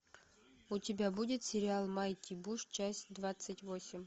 у тебя будет сериал майти буш часть двадцать восемь